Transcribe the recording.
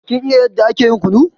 Kin iya yanda ake yin kunu?